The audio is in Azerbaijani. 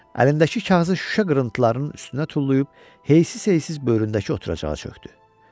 Əlindəki kağızı şüşə qırıntılarının üstünə tullayıb heysiz-heysiz böyründəki oturacağa çökdü.